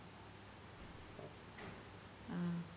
ആ